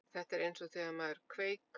Þetta er eins og þegar maður kveik